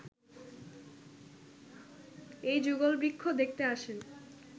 এই যুগলবৃক্ষ দেখতে আসেন